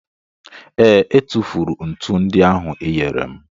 ee, e tufuru ntu ndị ahụ ịnyere m